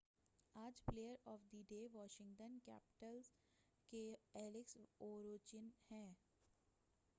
آج player of the day Washington Capitals کے Alex Ovechkin ہیں